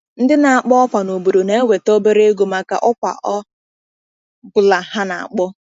Ndị na-akpọ ọkwa n’obodo na-enweta obere ego maka ọkwa ọ bụla ha na-akpọ.